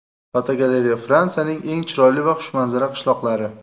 Fotogalereya: Fransiyaning eng chiroyli va xushmanzara qishloqlari.